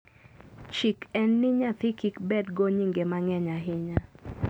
chik en ni nyathi kik bed go nyinge mangeny ahinya